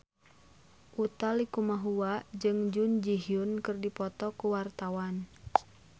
Utha Likumahua jeung Jun Ji Hyun keur dipoto ku wartawan